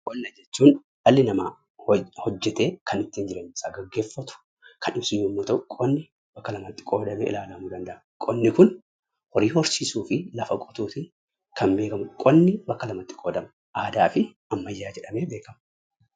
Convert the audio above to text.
Qonna jechuun dhali nama kan hojeete ittin jireenya isa geggefatuu kannibsuu yoo ta'u qonni bakka lamatti qoodame ilaallamuu danda'a. Qonni kun hoorii horsisuu fi lafaa qottuun kan beekamudha. Qonni bakka lamatti qoodama aadaa fi aammyyaa jedhamee beekama.